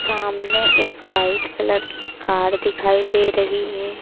सामने एक white colour की कार दिखाई दे रही है।